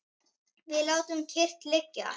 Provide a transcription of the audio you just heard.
Við látum kyrrt liggja